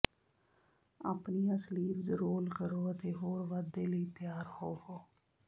ਆਪਣੀਆਂ sleeves roll ਕਰੋ ਅਤੇ ਹੋਰ ਵਾਧੇ ਲਈ ਤਿਆਰ ਹੋਵੋ